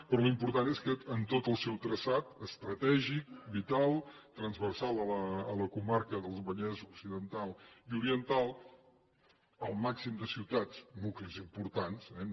però l’important és que en tot el seu traçat estratègic vital transversal a la comarca del vallès occidental i oriental el màxim de ciutats nuclis importants eh